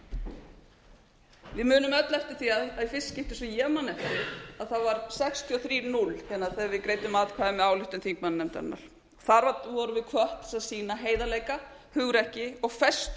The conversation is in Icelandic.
munum öll eftir því að í fyrsta skipti sem ég man eftir það voru það sextíu og þrjú núll þegar við greiddum atkvæði með ályktun þingmannanefndarinnar þar vorum við hvött til þess að sýna heiðarleika hugrekki og festu